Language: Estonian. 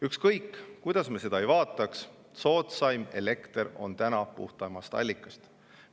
Ükskõik kuidas me seda ei vaataks, soodsaim elekter on puhtamast allikast.